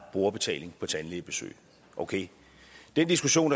brugerbetaling på tandlægebesøg den diskussion